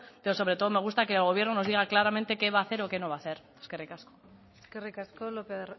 pero sobre todo me gusta que el gobierno nos diga claramente qué va a hacer o qué no va a hacer eskerrik asko eskerrik asko lopez